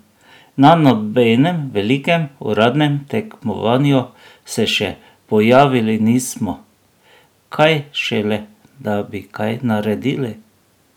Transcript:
Na nobenem velikem uradnem tekmovanju se še pojavili nismo, kaj šele, da bi kaj naredili!